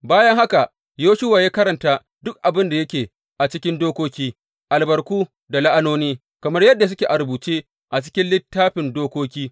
Bayan haka, Yoshuwa ya karanta duk abin da yake a cikin Dokoki, albarku da la’anoni, kamar yadda suke a rubuce a cikin Littafin Dokoki.